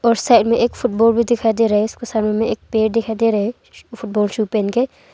और साइड में एक फुटबॉल भी दिखाई दे रहा है और साइड में एक पैर दिखाई दे रहा है फूलटबॉल शू पहन के।